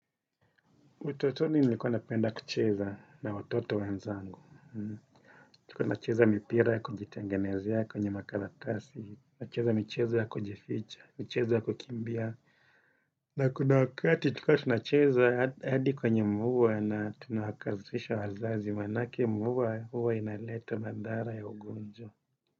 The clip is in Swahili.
Utotoni nilikuwa napenda kucheza na watoto wenzangu. Tulikuwa tunacheza mipira ya kujitengenezea kwenye makaratasi. Nacheza michezo ya kujificha, michezo ya kukimbia. Na kuna wakati tulikuwa tunacheza hadi kwenye mgua na tunakasirisha wazazi manake mvua huwa inaleta mandhara ya ugonjwa.